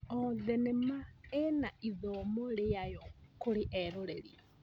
O thenema ĩna ithomo rĩayo kũrĩ eroreri.